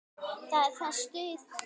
Það er það stutt ferð.